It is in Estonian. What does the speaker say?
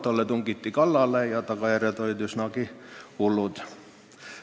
Talle tungiti kallale ja tagajärjed olid üsnagi hullud.